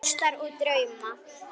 Börn ástar og drauma